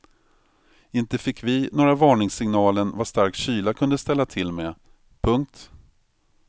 Inte fick vi några varningssignalen vad stark kyla kunde ställa till med. punkt